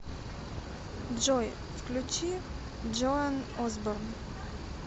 джой включи джоан осборн